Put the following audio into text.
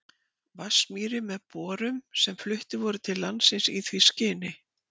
Vatnsmýri með borum sem fluttir voru til landsins í því skyni.